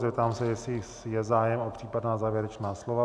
Zeptám se, jestli je zájem o případná závěrečná slova.